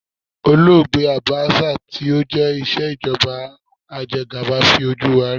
Olóògbé Àbáṣà tó jẹ́ ìṣèjọba ajegàba fi ojú wa rí.